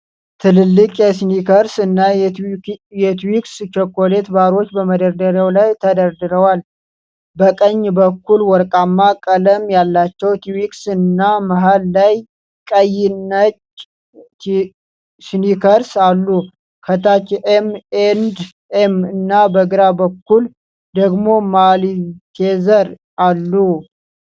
ትልልቅ የስኒከርስ እና የትዊክስ ቸኮሌት ባሮች በመደርደሪያ ላይ ተደርድረዋል። በቀኝ በኩል ወርቃማ ቀለም ያላቸው ትዊክስ እና መሃል ላይ ቀይ/ነጭ ስኒከርስ አሉ። ከታች ኤም ኤንድ ኤም እና በግራ በኩል ደግሞ ማልቴዘር አሉ።